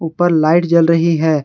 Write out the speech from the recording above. ऊपर लाइट जल रही है।